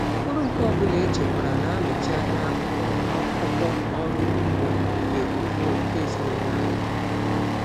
Mkpụrụ nke ọ bụla echekwara na-anọchi anya akụkụ akụkọ ọrụ ugbo nke ugbo nke ezinụlọ anyị.